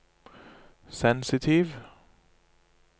sensitiv